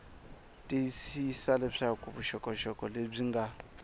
tiyisisa leswaku vuxokoxoko lebyi nga